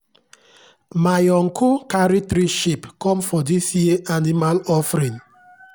myuncle carry three sheep come for dis year animal offering.